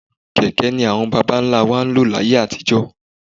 Kẹ̀kẹ́ ni àwọn bàbá ńlá wa ń lò láyé àtijọ́.